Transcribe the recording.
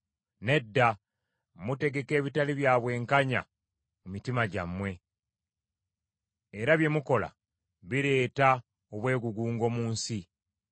Nedda, mutegeka ebitali bya bwenkanya mu mitima gyammwe; era bye mukola bireeta obwegugungo mu nsi.